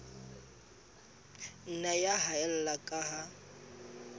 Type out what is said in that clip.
nna ya haella ka ha